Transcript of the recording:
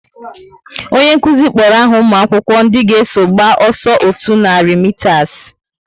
Onye nkụzi kpọrọ aha umuakwukwo ndị ga eso gba ọsọ otú nari mitas